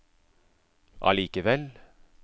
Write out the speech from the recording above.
allikevel